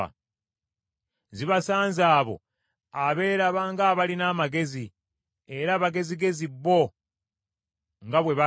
Zibasanze abo abeeraba ng’abalina amagezi, era abagezigezi bo nga bwe balaba.